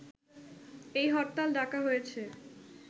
এই হরতাল ডাকা হয়েছে